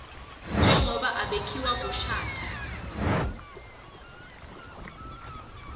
njengobe abekiwe kushatha